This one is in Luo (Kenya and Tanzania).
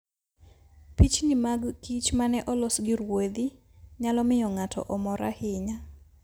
Pichni mag kich ma ne olos gi ruedhi, nyalo miyo ng'ato omor ahinya.